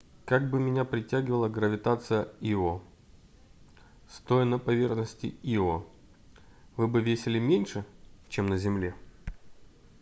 как бы меня притягивала гравитация ио стоя на поверхности ио вы бы весили меньше чем на земле